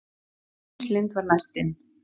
Íris Lind var næst inn